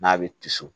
N'a bɛ tiso